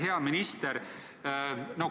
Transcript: Hea minister!